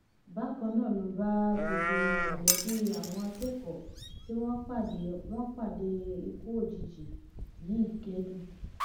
bákan náà ló bá gbogbo mọlẹbí àwọn akẹkọọ tí wọn pàdé wọn pàdé ikú òjijì yìí kẹdùn